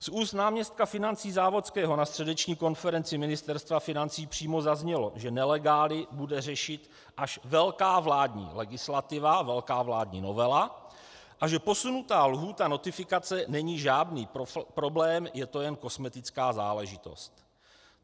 Z úst náměstka financí Závodského na středeční konferenci Ministerstva financí přímo zaznělo, že nelegály bude řešit až velká vládní legislativa, velká vládní novela, a že posunutá lhůta notifikace není žádný problém, je to jen kosmetická záležitost.